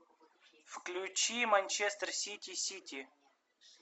включи манчестер сити сити